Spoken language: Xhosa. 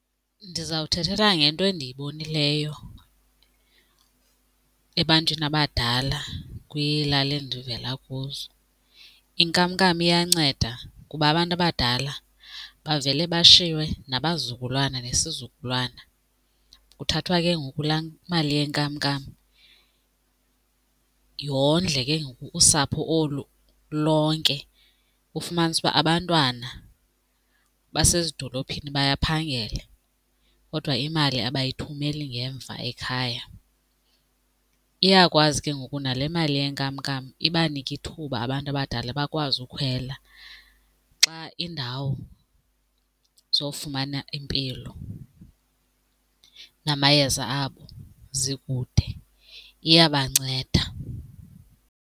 Ndizawuthethela ngento endiyibonileyo ebantwini abadala kwiilali endivela kuzo. Inkamnkam iyanceda kuba abantu abadala bavele bashiywe nabazukulwana nesizukulwana. Kuthathwa ke ngoku laa mali yenkamnkam yondle ke ngoku usapho olu lonke, ufumanise uba abantwana basezidolophini bayaphangela kodwa imali abayithumeli ngemva ekhaya. Iyakwazi ke ngoku nale mali yenkamnkam ibanike ithuba abantu abadala bakwazi ukhwela xa iindawo zofumana impilo namayeza abo zikude, iyabanceda.